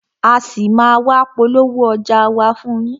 A ṣì máa a wá polówó ọjà wa fún yín.